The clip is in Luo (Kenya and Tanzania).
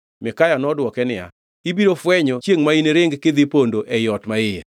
Mikaya nodwoke niya, “Ibiro fwenyo chiengʼ ma iniring kidhi pondo e ot maiye.”